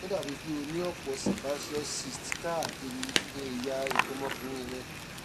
ó dàbíi pé o ní ọpọ sebaceous cysts káàkiri ẹyà nǹkan ọmọkùnrin rẹ